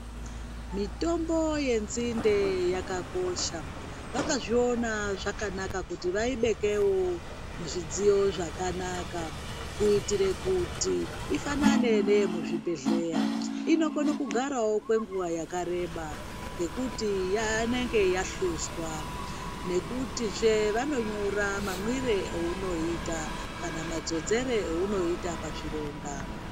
Mitombo yenzinde yakakosha vakazviona zvakanaka kuti vaibekewo muzvidziyo zvakanaka kuitire kuti ifanane neyemuzvibhedhleya inokone kugarawo kwenguwa yakareba ngekuti inenge yahluzwa nekutizve vanonyora mamwire aunoita kana madzodzere aunoita pazvironda.